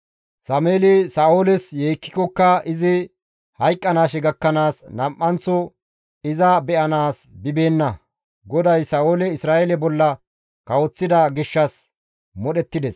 Sameeli Sa7ooles yeekkikokka izi hayqqanaashe gakkanaas nam7anththo iza be7anaas bibeenna; GODAY Sa7oole Isra7eele bolla kawoththida gishshas modhettides.